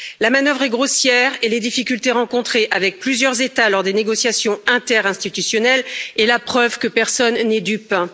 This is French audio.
La manœuvre est grossière et les difficultés rencontrées avec plusieurs États lors des négociations interinstitutionnelles est la preuve que personne n'est dupe.